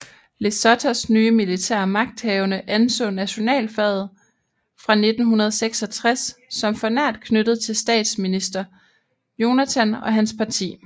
Lesothos nye militære magthavende anså nationalflaget fra 1966 som for nært knyttet til statsminister Jonathan og hans parti